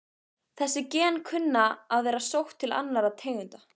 Þessi gen kunna að vera sótt til annarra tegunda.